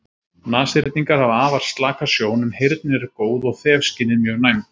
Nashyrningar hafa afar slaka sjón en heyrnin er góð og þefskynið mjög næmt.